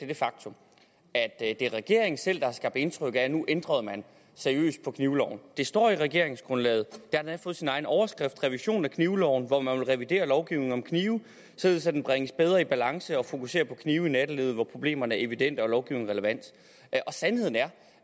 det faktum at det er regeringen selv der har skabt indtryk af at nu ændrede man seriøst på knivloven det står i regeringsgrundlaget det endda fået sin egen overskrift revision af knivloven hvor man vil revidere lovgivningen om knive således at den bringes bedre i balance og fokuserer på knive i nattelivet hvor problemerne er evidente og lovgivningen relevant sandheden er